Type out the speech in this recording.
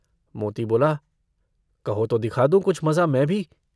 मोती बोला - कहो तो दिखा दूं कुछ मज़ा मैं भी।